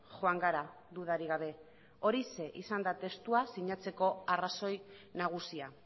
joan gara dudarik gabe horixe izan da testua sinatzeko arrazoi nagusia